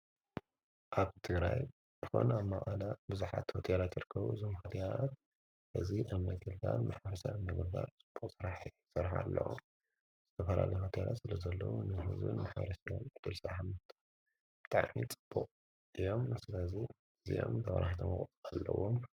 ኣብ ድራይ ሆን ኣብ ማውኣላ ብዙኃት ወትላ ቲርከዉ ዝምኃድኣት እዝ ኣመጌልላን ምሓርሳት እነጕባ ጽቡቕ ሠራሕ ሠርኃ ኣለዉ ዘተፈራለትላት ስለ ዘለዉ ንሕዝን መሓሪስሎም ክበልዛሓምልልታ ጠዕኒ ጽቡቕ ኢዮም ስለዙይ እዚዮም ተዉራህተመቕፁ ኣለዎ።